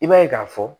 I b'a ye k'a fɔ